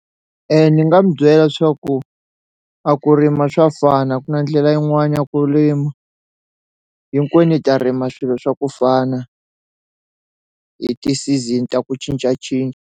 Ni nga mu byela swaku a ku rima swa fana a ku na ndlela yin'wani ya ku rima hinkwenu hi ta rima swilo swa ku fana hi ti-season ta ku cincacinca.